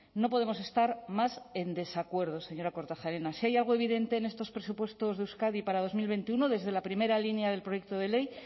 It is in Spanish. no podemos estar más en desacuerdo señora kortajarena si hay algo evidente en estos presupuestos de euskadi para dos mil veintiuno desde la primera línea del proyecto de ley